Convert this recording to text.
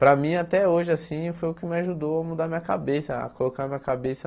Para mim, até hoje assim, foi o que me ajudou a mudar minha cabeça, a colocar minha cabeça...